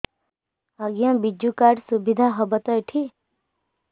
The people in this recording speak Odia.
ଆଜ୍ଞା ବିଜୁ କାର୍ଡ ସୁବିଧା ହବ ତ ଏଠି